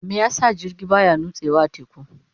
Me yasa jirgi baya nutsewa a teku?